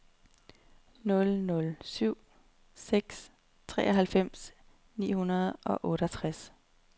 nul nul syv seks treoghalvfems ni hundrede og otteogtres